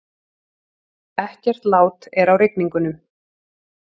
Ekkert lát er á rigningunum